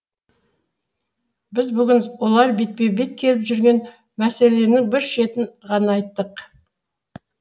біз бүгін олар бетпе бет келіп жүрген мәселесінің бір шетін ғана айттық